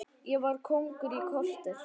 Ég var kóngur í korter.